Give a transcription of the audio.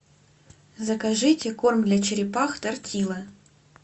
закажите корм для черепах тортилла